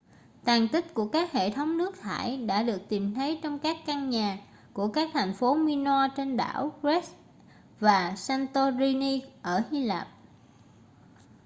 tàn tích của các hệ thống nước thải đã được tìm thấy trong các căn nhà của các thành phố minoa trên đảo crete và santorini ở hy lạp